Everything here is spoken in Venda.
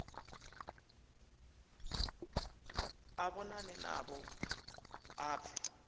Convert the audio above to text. a vhonane navho a pfe